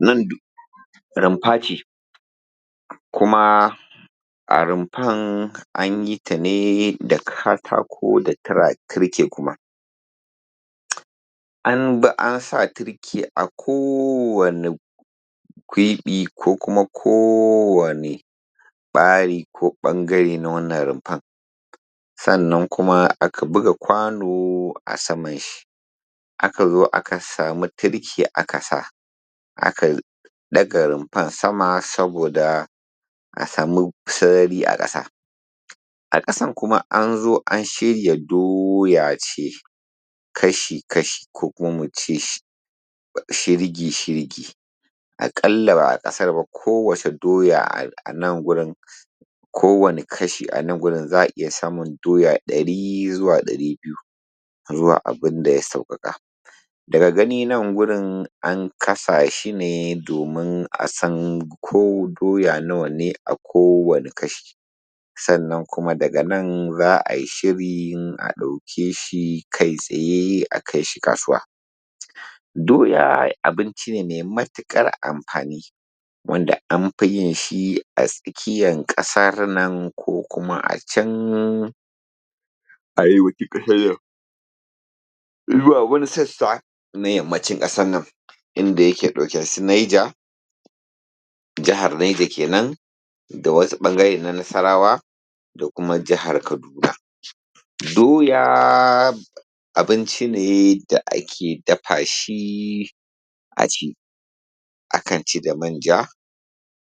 Nan duk rumfa ce, kuma a rumfar an yi ta ne da katako da turke kuma. An bi ansa turke a kowane kwiɓi ko kuma kowane ɓari ko ɓangare na wannan rumfan. Sannan kuma aka buga kwano a saman shi, aka zo aka samu turke aka sa, aka ɗaga rumfar sama saboda a samu sarari a ƙasa. A ƙasan kuma an zo an shirya doya ce kashi-kashi ko kuma mu ce shi shirgi-shirgi. Aƙalla ba a kasara ba ko wace doya anan gurin, kowane kasha anan gurin za a iya samun doya ɗari zuwa ɗari biyu zuwa abun da ya sauƙaƙa. Daga gani nan gurin an kasa shi ne domin a san ko doya nawa ne a kowane kashi, sannan kuma daga nan za a yi shirin a ɗauke shi kai tsaye a kai shi kasuwa. Doya abinci ne mai matuƙar amfani wanda an fi yin shi a tsakiyan ƙasar nan ko kuma a can arewacin ƙasan nan zuwa wani sassa na yammacin ƙasan nan, inda yake ɗauke da su Naija jahar Naija kenan da wasu ɓangare na Nasarawa da kuma jahar Kaduna. Doya abinci ne da ake dafa shi a ci, akan ci da manja,